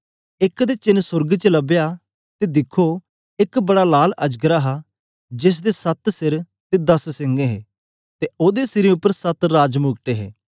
एक ते चेन्न सोर्ग च लबया ते दिखो एक बड़ा लाल अजगर हा जेसदे सत्त सिर ते दस सिंग हे ते ओदे सिरें उपर सत्त राजमुकुट हे